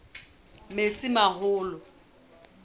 metsimaholo